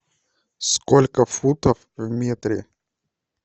сколько футов в метре